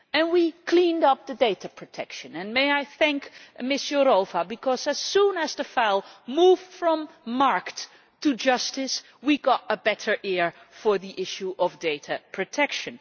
We cleaned up the data protection and may I thank Commissioner Jourová, because as soon as the file moved from DG Markt to DG Justice we got a better hearing on the issue of data protection.